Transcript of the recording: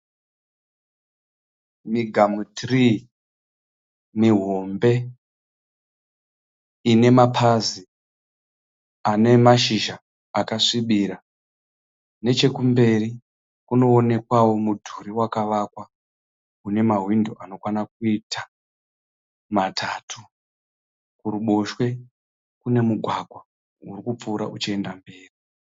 Migamu tiriyi mihombe ine mapazi ane mashizha akasvibirira. Nechekumberi kunoonekwawo mudhuri wakavakwa une mahwindo anokwana kuita matatu. Kuruboshwe kune mugwagwa uri kupfuura uchienda mberi.